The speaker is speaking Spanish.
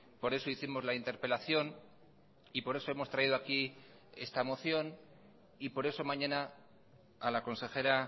por eso hicimos la interpelación y por eso hemos traído aquí esta moción y por eso mañana a la consejera